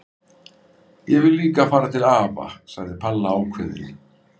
Ég vil líka fara til afa! sagði Palla ákveðin.